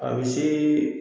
A bɛ se